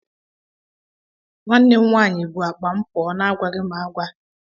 Nwanne m nwaanyị bụ akpa m pụọ na-agwaghị m agwa.